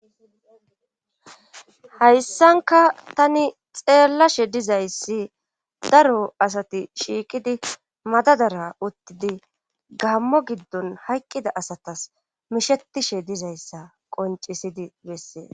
Hayssanka tani xeellashe dizayssi daro asati shiiqidi madadara uttidi gaamo giddon hayqqida asatas mishetishe dizayssa qoncisidi bessees.